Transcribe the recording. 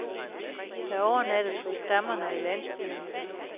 Der overnattes hos stammerne i landsbyerne.